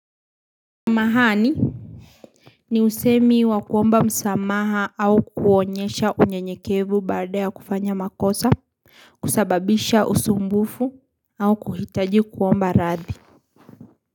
Mahani ni usemi wakuomba msamaha au kuonyesha unyenyekevu baada ya kufanya makosa kusababisha usumbufu au kuhitaji kuomba rathi.